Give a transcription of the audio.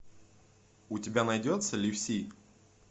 у тебя найдется люси